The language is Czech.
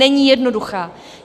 Není jednoduchá.